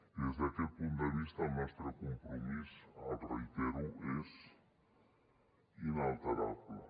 i des d’aquest punt de vista el nostre compromís ho reitero és inalterable